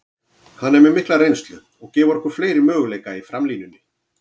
Hann er með mikla reynslu og gefur okkur fleiri möguleika í framlínunni.